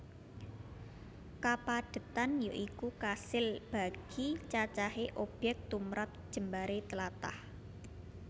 Kapadhetan ya iku kasil bagi cacahé obyek tumrap jembaré tlatah